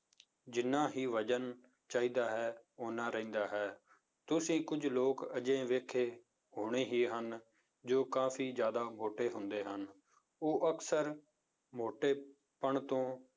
ਜਿੰਨਾ ਹੀ ਵਜ਼ਨ ਚਾਹੀਦਾ ਹੈ, ਓਨਾ ਰਹਿੰਦਾ ਹੈ, ਤੁਸੀਂ ਕੁੱਝ ਲੋਕ ਅਜਿਹੇ ਵੇਖੇ ਹੋਣੇ ਹੀ ਹਨ, ਜੋ ਕਾਫ਼ੀ ਜ਼ਿਆਦਾ ਮੋਟੇ ਹੁੰਦੇ ਹਨ, ਉਹ ਅਕਸਰ ਮੋਟੇ ਪਣ ਤੋਂ